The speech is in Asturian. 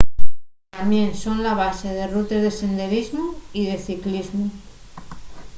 tamién son la base de rutes de senderismu y de ciclismu